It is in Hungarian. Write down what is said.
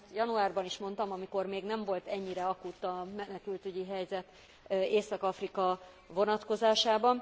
Én ezt januárban is mondtam, amikor még nem volt ennyire akut a menekültügyi helyzet Észak Afrika vonatkozásában.